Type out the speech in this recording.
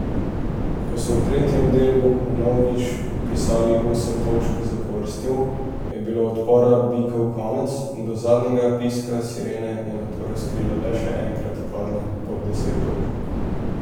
Ko so v tretjem delu vnovič vpisali osem točk zapovrstjo, je bilo odpora Bikov konec, do zadnjega piska sirene je nato razlika le še enkrat padla pod deset točk.